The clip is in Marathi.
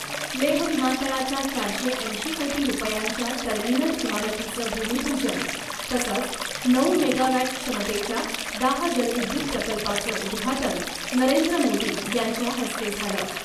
लेह विमानतळाच्या चारशे ऐंशी कोटी रुपयांच्या टर्मिनल इमारतीचं भूमिपूजन , तसंच नऊ मेगावॅट क्षमतेच्या दाह जलविद्युत प्रकल्पाचं उद्घाटन नरेंद्र मोदी यांच्या हस्ते झालं .